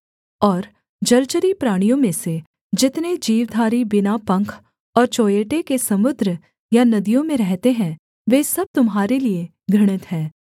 और जलचरी प्राणियों में से जितने जीवधारी बिना पंख और चोंयेटे के समुद्र या नदियों में रहते हैं वे सब तुम्हारे लिये घृणित हैं